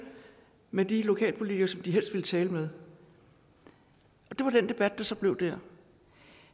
med de lokalpolitikere som de helst ville tale med og det var den debat der så blev dér